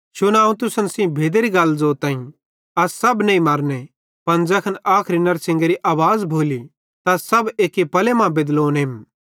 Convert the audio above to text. शुना अवं तुसन सेइं भेदेरी गल ज़ोताईं अस सब नईं मरने पन ज़ैखन आखरी नड़शिंगेरी आवाज़ भोली त अस सब एक्की पले मां बेदलोनेम